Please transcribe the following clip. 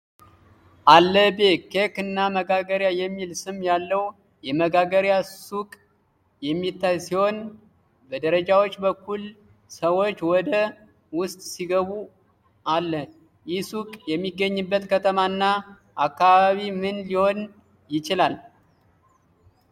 “አለበ ኬክ እና መጋገሪያ” የሚል ስም ያለው የመጋገሪያ ሱቅ የሚታይ ሲሆን በደረጃዎች በኩል ሰዎች ወደ ውስጥ ሲገቡአለ። ይህ ሱቅ የሚገኝበት ከተማ እና አካባቢ ምን ሊሆን ይችላል?